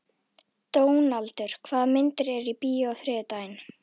Dónaldur, hvaða myndir eru í bíó á þriðjudaginn?